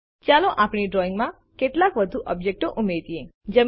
ચાલો આપણી ડ્રોઈંગમાં કેટલાક વધુ ઓબ્જેક્ટો ઉમેરિયે